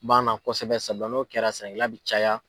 b'an na kosɛbɛ sabula n'o kɛra sɛnɛkɛla bi caya.